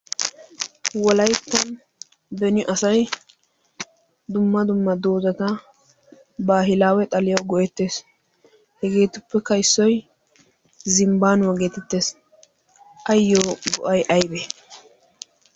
Wolaytta beni asay dumma dumma doozata baahilaawe xaliya go'ettres. Hegeetuppekka issoy zimbbaanuwa geetettees. ayyo go'ay ayibee?